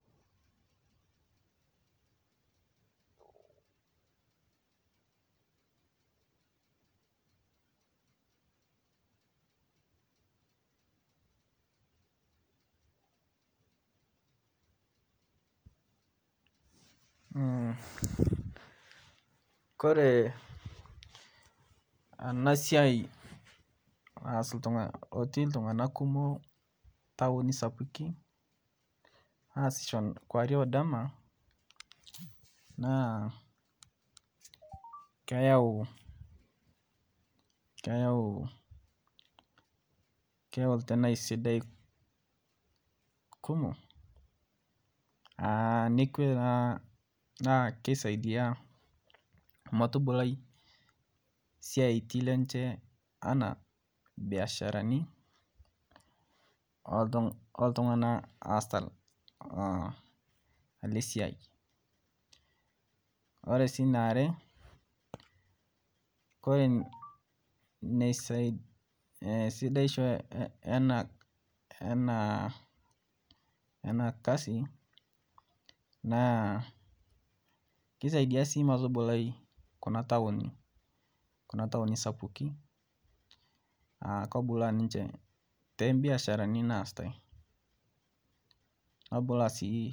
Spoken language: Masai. koree ena siai naas otii iltung'anak kumok ntaoni sapikin aasisho kowarie odama naa keyau keyau itenaii sidai kumok naa kesaidia metubulai esiaitin lenche enaa imbiasharani ooltung'anak lee siai oree sii niare kore sidaisho ena kasi naa keisaidia sii metubulai kuna taoni sapuki aa kebulaa ninche toobiasharani naasita.